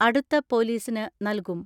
അടുത്ത പൊലീസിന് നൽകും.